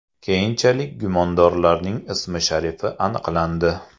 Keyinchalik gumondorlarning ismi-sharifi aniqlandi.